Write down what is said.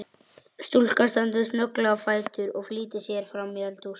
Stúlkan stendur snögglega á fætur og flýtir sér framí eldhús.